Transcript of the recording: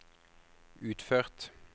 utført